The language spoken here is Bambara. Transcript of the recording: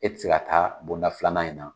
E ti se ka taa bonda filanan in na.